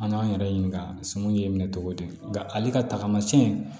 An k'an yɛrɛ ɲininka sɔmi y'i minɛ cogo di nka ale ka tagamasiyɛn